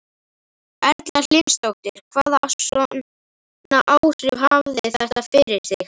Erla Hlynsdóttir: Hvaða svona áhrif hafði þetta fyrir þig?